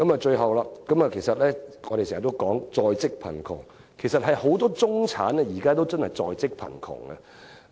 最後，我們經常說在職貧窮，其實不少中產人士都處於在職貧窮狀態。